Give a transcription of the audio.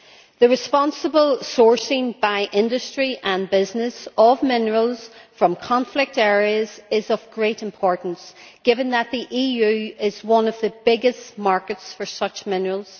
The responsible sourcing by industry and business of minerals from conflict areas is of great importance given that the EU is one of the biggest markets for such minerals.